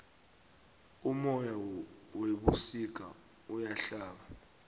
umoya webusika uyahlaba